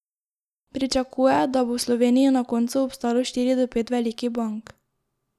Pričakuje, da bo v Sloveniji na koncu obstalo štiri do pet velikih bank.